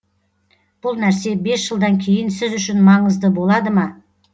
бұл нәрсе бес жылдан кейін сіз үшін маңызды болады ма